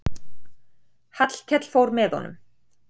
Hallkell fór með honum.